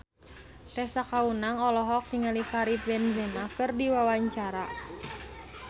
Tessa Kaunang olohok ningali Karim Benzema keur diwawancara